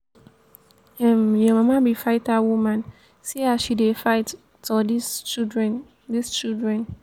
um your mama be fighter woman see as she dey fight tor dis children dis children